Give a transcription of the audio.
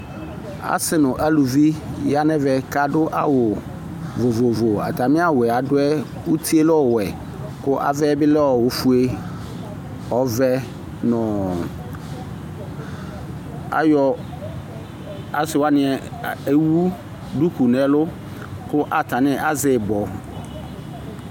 Asi nu aluvi yanu ɛvɛ kadu áwu vovo atami awu adu yɛ utie lɛ ɔwɛ ku avɛ bi lɛ ofue ɔvɛ nu asiwani ewu ɛlu ku atani azɛ ibɔ